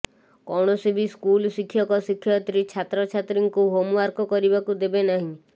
କୌଣସି ବି ସ୍କୁଲ ଶିକ୍ଷକ ଶିକ୍ଷୟିତ୍ରୀ ଛାତ୍ରଛାତ୍ରୀଙ୍କୁ ହୋମ୍ୱାର୍କ କରିବାକୁ ଦେବେ ନାହିଁ